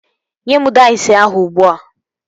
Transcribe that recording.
Nye mụ daiz ahụ ugbua!